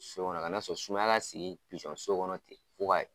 So kɔnɔ kan'a sɔn sumaya ka sigi pizɔn so kɔnɔ ten.